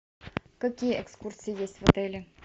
какие экскурсии есть в отеле